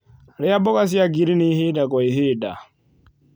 Rĩa mboga cia ngirini ĩhĩda gwa ĩhĩda